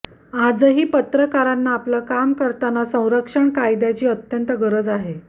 आजही पत्रकारांना आपलं काम करताना संरक्षण कायद्याची अत्यंत गरज आहे